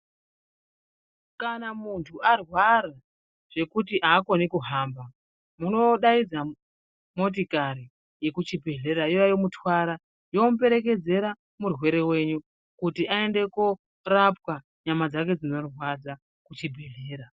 Kana muntu arwara zvekuti haachakoni kuhamba munodaidza motikari yekuchibhedhlera youya yomutwara, yomuperekedzera murwere ventu kuti aende korapwa nyama dzake dzinorwadza kuchibhedhlera.